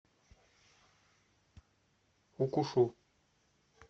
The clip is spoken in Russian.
укушу